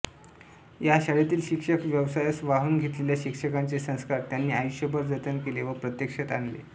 या शाळेतील शिक्षक व्यवसायास वाहून घेतलेल्या शिक्षकांचे संस्कार त्यांनी आयुष्यभर जतन केले व प्रत्यक्षात आणले